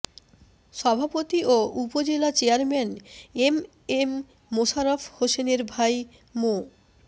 সভাপতি ও উপজেলা চেয়ারম্যান এম এম মোশাররফ হোসেনের ভাই মো